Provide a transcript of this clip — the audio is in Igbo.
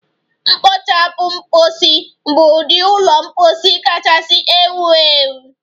Kpochapu mposi bụ ụdị ụlọ mposi kachasị ewu ewu.